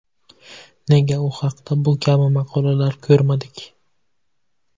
Nega u haqda bu kabi maqolalar ko‘rmadik?